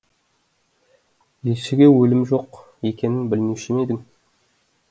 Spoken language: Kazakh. елшіге өлім жоқ екенін білмеуші ме едің